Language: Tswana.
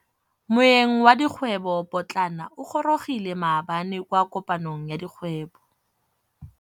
Moêng wa dikgwêbô pôtlana o gorogile maabane kwa kopanong ya dikgwêbô.